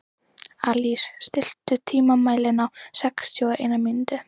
Alís, stilltu tímamælinn á sextíu og eina mínútur.